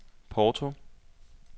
Porto